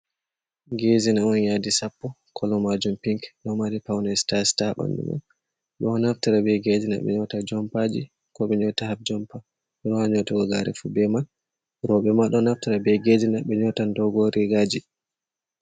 Ngezina on yaɗii sappo. kolobmajum pinik. Ɗo mari paune sita-sita ha banɗu man. Beɗo naftara be ngezina nyeuta jompaji, ko be nyeuta hap jompa. Be wasan nyeutogo gyare ma bee man. Robe ma ɗo naftara be ngezina be nyeutan ɗogon rigaji.